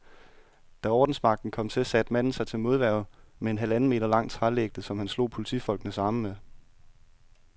Da ordensmagten kom til, satte manden sig til modværge med en halvanden meter lang trælægte, som han slog politifolkenes arme med.